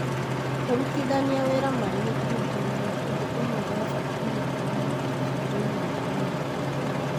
Kũrutithania wĩra marĩ gĩkundiinĩ nĩ ũndũ ũmwe wa bata mũno o mũndũ agĩrĩirwo kũmenya.